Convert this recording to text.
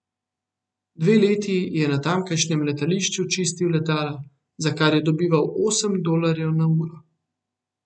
Dve leti je na tamkajšnjem letališču čistil letala, za kar je dobival osem dolarjev na uro.